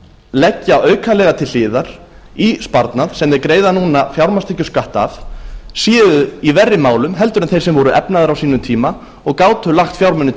leggja aukalega til hliðar í sparnað sem þeir greiða núna fjármagnstekjuskatt af séu í verri málum heldur en þeir sem voru efnaðir á sínum tíma og gátu lagt fjármuni